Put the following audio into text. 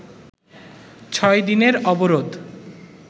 ছয় দিনের অবরোধ